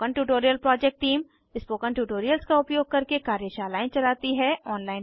spoken tutorial project team spoken tutorials का उपयोग करके कार्यशालाएं चलाती है